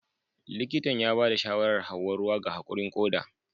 Likitan ya ba da shawarar Hauwa ruwa ga haƙurin koda